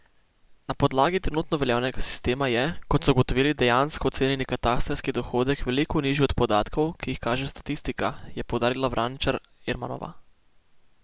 Na podlagi trenutno veljavnega sistema je, kot so ugotovili, dejansko ocenjeni katastrski dohodek veliko nižji od podatkov, ki jih kaže statistika, je poudarila Vraničar Ermanova.